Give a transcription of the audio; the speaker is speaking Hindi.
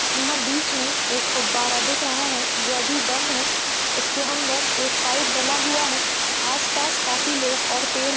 यहाँ बीच में एक फब्बारा दिख रहा है जो अभी बंद है इसके अंदर एक पाइप डला हुआ है आस पास काफी लोग और पेड़ --